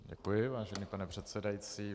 Děkuji, vážený pane předsedající.